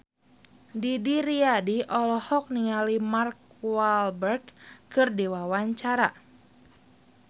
Didi Riyadi olohok ningali Mark Walberg keur diwawancara